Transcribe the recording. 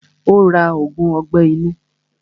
Ó ra ògùn ọgbẹ́ inú.